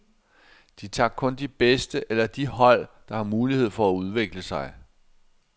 De tager kun de bedste eller de hold, der har mulighed for at udvikle sig.